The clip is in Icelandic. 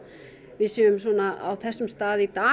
við séum á þessum stað í dag